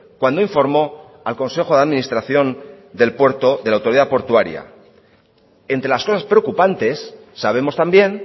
cuando informó al consejo de administración del puerto de la autoridad portuaria entre las cosas preocupantes sabemos también